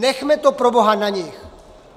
Nechme to proboha na nich!